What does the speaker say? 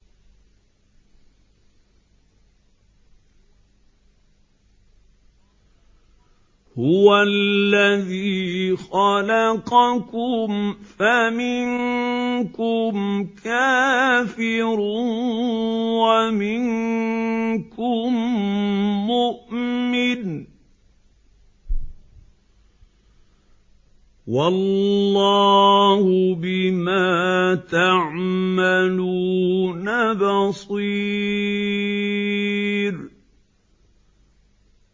هُوَ الَّذِي خَلَقَكُمْ فَمِنكُمْ كَافِرٌ وَمِنكُم مُّؤْمِنٌ ۚ وَاللَّهُ بِمَا تَعْمَلُونَ بَصِيرٌ